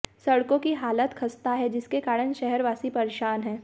सड़कों की हालत खस्ता है जिसके कारण शहरवासी परेशान हैं